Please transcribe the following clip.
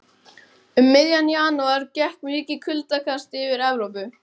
Um miðjan janúar gekk mikið kuldakast yfir Evrópu.